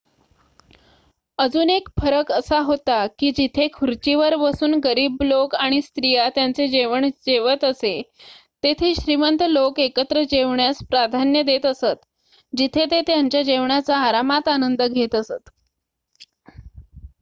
अजून एक फरक असा होता की जिथे खुर्चीवर बसून गरीब लोक आणि स्त्रीया त्यांचे जेवण जेवत असे तेथे श्रीमंत लोक एकत्र जेवण्यास प्राधान्य देत असत जिथे ते त्यांच्या जेवणाचा आरामात आनंद घेत असत